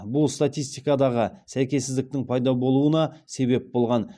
бұл статистикадағы сәйкессіздіктің пайда болуына себеп болған